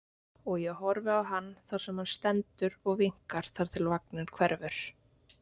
Og ég horfi á hann þar sem hann stendur og vinkar þar til vagninn hverfur.